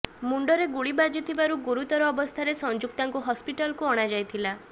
ମୁଣ୍ଡରେ ଗୁଳି ବାଜିଥିବାରୁ ଗୁରୁତର ଅବସ୍ଥାରେ ସଂଯୁକ୍ତାଙ୍କୁ ହସ୍ପିଟାଲକୁ ଅଣାଯାଇଥିଲା